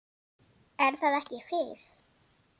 Er það ekki Fis?